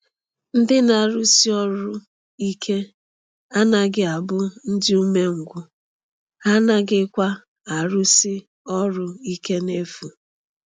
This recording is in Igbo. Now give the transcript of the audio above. Ndị na-arụsi ọrụ ike anaghị abụ ndị umengwụ, ha anaghịkwa arụsi ọrụ ike n’efu.